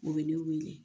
U bɛ ne wele